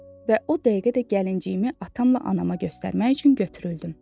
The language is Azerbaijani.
Və o dəqiqə də gəlinciyimi atamla anama göstərmək üçün götürüldüm.